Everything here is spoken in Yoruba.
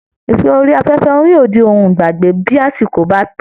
Ìfẹ́ orí afẹ́fẹ́ yóò di ohun ìgbàgbé bí àsìkò bá tó